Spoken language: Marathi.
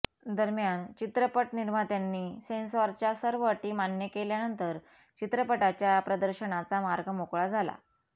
दरम्यान चित्रपट निर्मात्यांनी सेन्सॉरच्या सर्व अटी मान्य केल्यानंतर चित्रपटाच्या प्रदर्शनाचा मार्ग मोकळा झाला